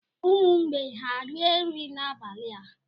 Umu mgbei ha rie nri abalị a?